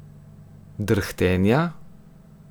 Drhtenja?